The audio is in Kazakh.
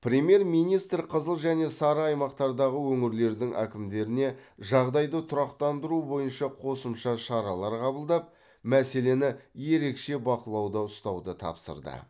премьер министр қызыл және сары аймақтардағы өңірлердің әкімдеріне жағдайды тұрақтандыру бойынша қосымша шаралар қабылдап мәселені ерекше бақылауда ұстауды тапсырды